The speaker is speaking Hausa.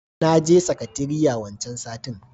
naje sakateriya wancan satin.